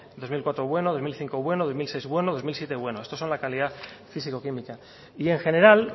dos mil cuatro bueno bi mila bost bueno bi mila sei bueno bi mila zazpi bueno estos son la calidad físico química y en general